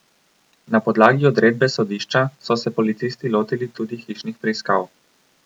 Na podlagi odredbe sodišča so se policisti lotili tudi hišnih preiskav.